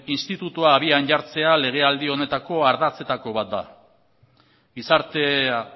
institutoa habian jartzea legealdi honetako ardatzetako bat da gizartea